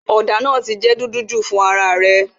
òdà naa ti dúdú ju fún ara rè